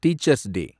teacher's டே